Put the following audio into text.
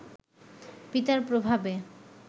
পিতার প্রভাবে